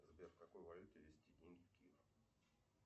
сбер в какой валюте везти деньги в киев